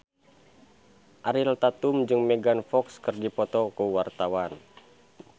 Ariel Tatum jeung Megan Fox keur dipoto ku wartawan